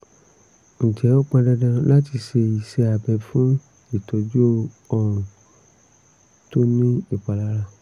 ǹjẹ́ ó pọn dandan láti ṣe iṣẹ́ abẹ fún ìtọ́jú ọrùn tó ní ìpalára?